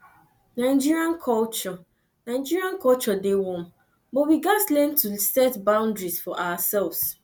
nigerian culture nigerian culture dey warm but we gats learn to set boundaries for ourselves